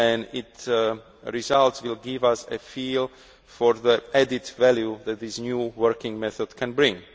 Its results will give us a feel for the added value that this new working method can bring.